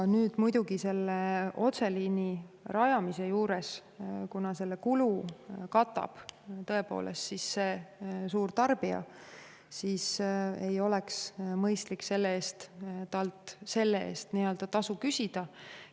Nüüd muidugi selle otseliini rajamise puhul on nii, et kuna selle kulu katab tõepoolest suurtarbija, ei oleks mõistlik talt selle eest tasu küsida.